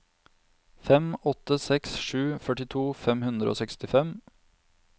fem åtte seks sju førtito fem hundre og sekstifem